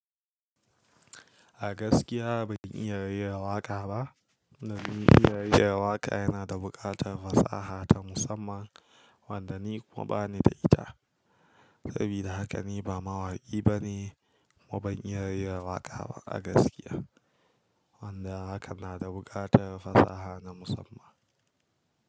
A gaskiya ban iya rera waƙa ba. Tunda dai rera waƙa yana da buƙatar fasaha ta musamman wanda ni kuma ba ni da ita. Sabida haka ni ba mawaƙi bane, kuma ban iya rera waƙa ba a gaskiya. Wanda haka na da buƙatar fasaha na musamman.